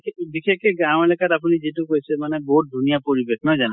কে বিশেষকে গাওঁ এলেকাত আপুনি যিটো কৈছে মানে বহুত ধুনীয়া পৰিবেশ, নহয় জানো?